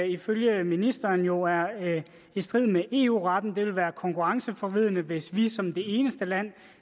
ifølge ministeren jo er i strid med eu retten det ville være konkurrenceforvridende hvis vi som det eneste land